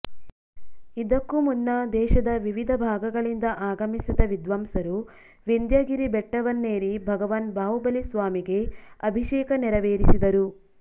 ಇದಕ್ಕೂ ಮುನ್ನ ದೇಶದ ವಿವಿಧ ಭಾಗ ಗಳಿಂದ ಆಗಮಿಸಿದ ವಿದ್ವಾಂಸರು ವಿಂಧ್ಯಗಿರಿ ಬೆಟ್ಟವನ್ನೇರಿ ಭಗವಾನ್ ಬಾಹುಬಲಿ ಸ್ವಾಮಿಗೆ ಅಭಿಷೇಕ ನೇರವೇರಿಸಿದರು